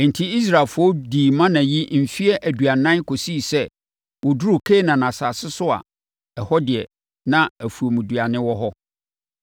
Enti, Israelfoɔ dii mana yi mfeɛ aduanan kɔsii sɛ wɔduruu Kanaan asase so a ɛhɔ deɛ, na afuomduane wɔ no.